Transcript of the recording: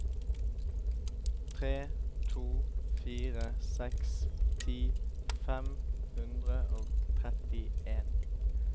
tre to fire seks ti fem hundre og trettien